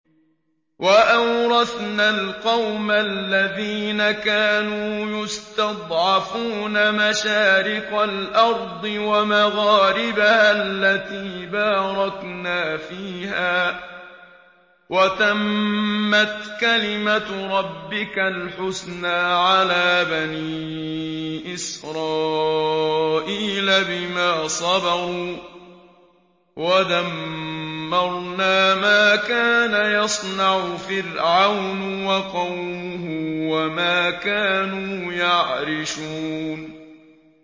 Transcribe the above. وَأَوْرَثْنَا الْقَوْمَ الَّذِينَ كَانُوا يُسْتَضْعَفُونَ مَشَارِقَ الْأَرْضِ وَمَغَارِبَهَا الَّتِي بَارَكْنَا فِيهَا ۖ وَتَمَّتْ كَلِمَتُ رَبِّكَ الْحُسْنَىٰ عَلَىٰ بَنِي إِسْرَائِيلَ بِمَا صَبَرُوا ۖ وَدَمَّرْنَا مَا كَانَ يَصْنَعُ فِرْعَوْنُ وَقَوْمُهُ وَمَا كَانُوا يَعْرِشُونَ